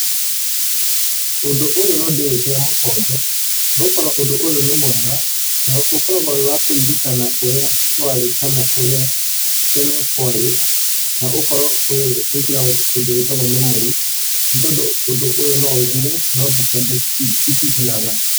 Ũndũ ũyũ no ndĩwĩkĩre mũkonde nĩ gũkorwo ũndũ ũyũ nĩ mwega, na ũkoragwo wĩ wa kũririkana ũrĩa kwarĩ kana ũrĩa tene kwarĩ, na ũgakorwo ũgĩkĩra kĩndũ gĩtagwo memories, nĩ tondũ ũndũ ũyũ no ũthire no mbica ici citithiraga